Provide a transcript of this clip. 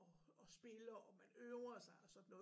Og og spiller og man øver sig og sådan noget